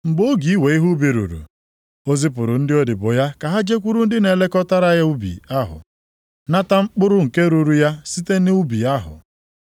Mgbe oge iwe ihe ubi ruru, o zipụrụ ndị odibo ya ka ha jekwuru ndị na-elekọta ubi ahụ, nata mkpụrụ nke ruuru ya site nʼubi ahụ.